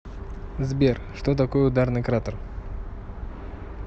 сбер что такое ударный кратер